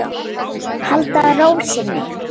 Halda ró sinni.